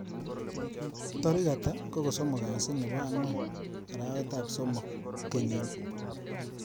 Tarik hata ko kosomok kasi nebo angwan arawetab somok kenyini